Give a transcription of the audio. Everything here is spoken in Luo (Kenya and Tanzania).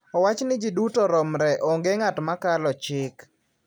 Owach ni ji duto romre, onge ng`at ma kalo chik.